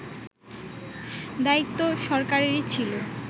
দায়িত্ব সরকারেরই ছিল